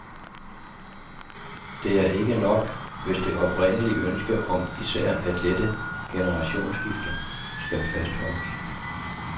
Det er ikke nok, hvis det oprindelige ønske om især at lette generationsskifter skal fastholdes.